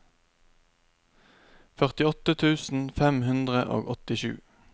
førtiåtte tusen fem hundre og åttisju